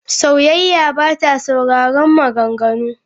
Sauyayya ba ta sauraron maganganu.